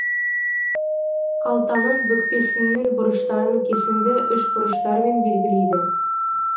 қалтаның бүкпесіннің бұрыштарын кесінді үшбұрыштармен белгілейді